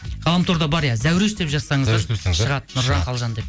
ғаламторда бар иә зәуреш деп жазсаңыздар шығады нұржан қалжан деп